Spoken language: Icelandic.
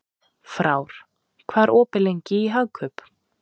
Frár, hvað er opið lengi í Hagkaup?